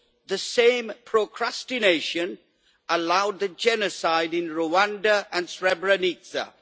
The same procrastination allowed the genocide in Rwanda and Srebrenica.